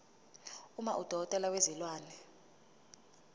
uma udokotela wezilwane